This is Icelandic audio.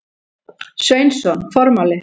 Sveinsson: Formáli.